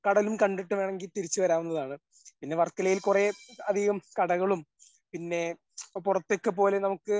കടലും കണ്ടിട്ട് വേണമെങ്കിൽ തിരിച്ച് വരാവുന്നതാണ്. പിന്നെ വർക്കലയിൽ കുറേ അധികം കടകളും പിന്നെ പുറത്തൊക്കെ പോലെ നമുക്ക്